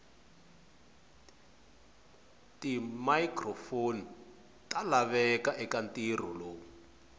timicrophone talaveka ekantirho lowu